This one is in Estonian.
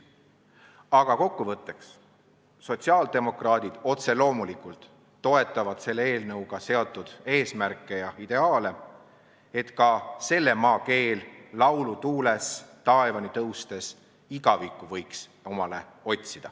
Aga kokkuvõtteks sotsiaaldemokraadid otse loomulikult toetavad selle eelnõuga seatud eesmärke ja ideaale, et ka selle maa keel laulu tuules taevani tõustes igavikku võiks omale otsida.